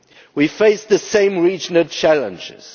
We face the same regional challenges